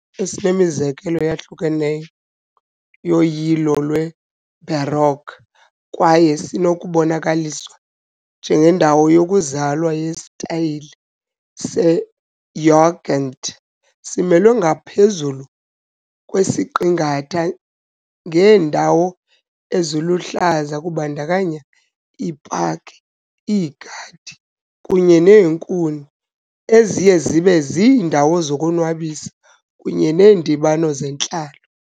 Isixeko, esinemizekelo eyahlukeneyo yoyilo lweBaroque kwaye sinokubonakaliswa njengendawo yokuzalwa yesitayile "seJugend", simelwe ngaphezulu kwesiqingatha ngeendawo eziluhlaza kubandakanya iipaki, iigadi kunye neenkuni, eziye zibe ziindawo zokuzonwabisa kunye neendibano zentlalo.